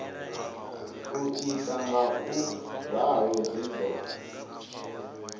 u ita ngauralo zwi do